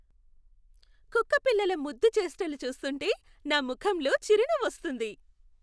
కుక్కపిల్లల ముద్దు చేష్టలు చూస్తుంటే నా ముఖంలో చిరునవ్వు వస్తుంది.